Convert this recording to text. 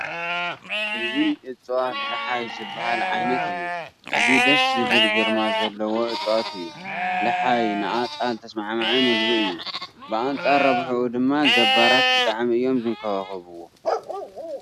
እዚ እፅዋት ለሓይ ዝበሃል ዓይነት እዩ፡፡ እዚ ደስ ዝብል ግርማ ዘለዎ እፅዋት እዩ፡፡ ለሓይ ንኣጣል ተስማዕምዒ ምግቢ እዩ፡፡ ብኣንፃር ረብሕኡ ድማ ገባራት ብጣዕሚ እዮም ዝንከባኸብዎ፡፡